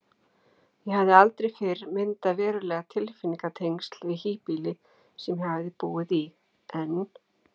Ég hafði aldrei fyrr myndað veruleg tilfinningatengsl við híbýli sem ég hafði búið í, en